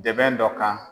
Dɛmɛ dɔ kan